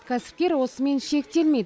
кәсіпкер осымен шектелмейді